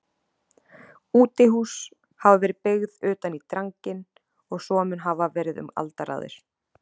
Útihús hafa verið byggð utan í dranginn og svo mun hafa verið um aldaraðir.